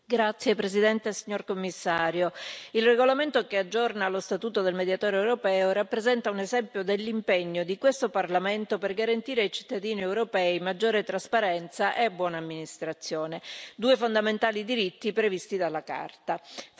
Signor Presidente, onorevoli colleghi, signor Commissario, il regolamento che aggiorna lo statuto del Mediatore europeo rappresenta un esempio dell'impegno di questo Parlamento per garantire ai cittadini europei maggiore trasparenza e buona amministrazione, due fondamentali diritti previsti dalla Carta.